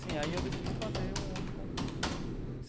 Sim, aí eu decidi fazer um outro concurso né.